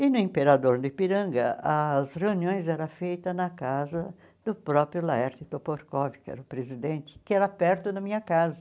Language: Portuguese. E no Imperador do Ipiranga, as reuniões era feita na casa do próprio Laerte Toporkov, que era o presidente, que era perto da minha casa.